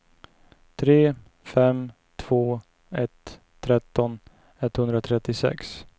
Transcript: tre fem två ett tretton etthundratrettiosex